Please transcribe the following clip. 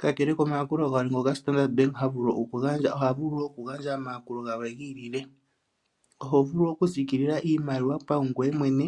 Kakele komayakulo galwe ngoka standard bank ha vulu okugandja, oha vulu wo okugandja omayakulo galwe gi ilile. Oho vulu okusiikila iimaliwa paungoye mwene,